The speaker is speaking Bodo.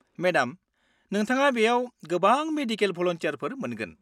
-मेडाम, नोंथाङा बेयाव गोबां मेडिकेल भलुन्टियारफोर मोनगोन।